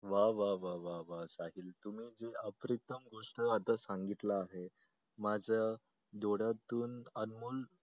वा वा वा वा तुम्ही अप्रतिम गोष्ट आता सांगितलं आहे माझ्या डोळ्यातून अनमोल